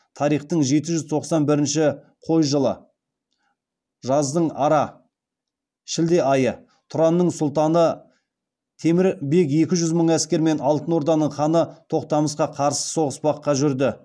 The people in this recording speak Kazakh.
тарихтың жеті жүз тоқсан бірінші қой жылы жаздың ара айы тұранның сұлтаны темір бек екі жүз мың әскермен алтын орданың ханы тоқтамысқа қарсы соғыспаққа жүрді